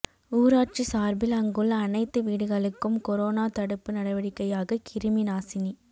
ஊராட்சி சார்பில் அங்குள்ள அனைத்து வீடுகளுக்கும் கொரோனா தடுப்பு நடவடிக்கையாக கிருமி நாசினி